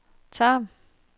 Tarm